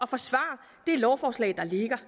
forsvare det lovforslag der ligger